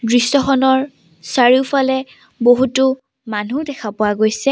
দৃশ্যখনৰ চাৰিওফালে বহুতো মানুহ দেখা পোৱা গৈছে।